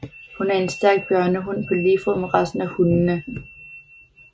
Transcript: Hun er en stærk bjørnehund på lige fod med resten af hundene